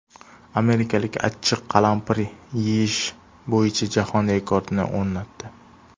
Amerikalik achchiq qalampir yeyish bo‘yicha jahon rekordini o‘rnatdi .